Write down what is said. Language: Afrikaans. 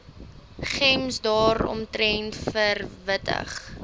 gems daaromtrent verwittig